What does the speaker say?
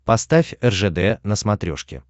поставь ржд на смотрешке